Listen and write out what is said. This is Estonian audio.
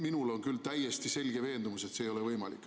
Minul on küll täiesti selge veendumus, et see ei ole võimalik.